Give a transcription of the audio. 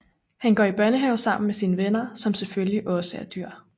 Han går i børnehave sammen med sine venner som selvfølgelig også er dyr